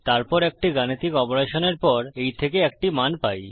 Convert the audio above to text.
তারপর একটি গাণিতিক অপারেশনের পর এই থেকে একটি মান পাই